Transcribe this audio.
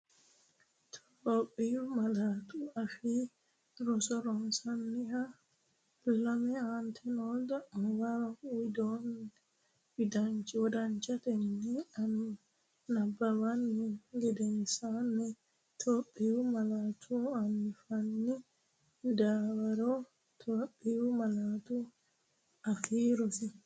Itophiyu Malaatu Afii Roso Rosiishsha Lame Aante noo xa’muwa wodanchatenni nabbabbini gedensaanni Itophiyu malaatu afiinni dawarre Itophiyu Malaatu Afii Roso.